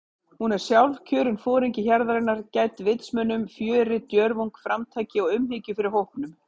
Hún er sjálfkjörinn foringi hjarðarinnar- gædd vitsmunum, fjöri, djörfung, framtaki og umhyggju fyrir hópnum.